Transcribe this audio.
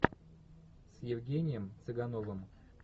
с евгением цыгановым